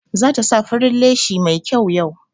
Za ta sa farin leshi mai kyau yau.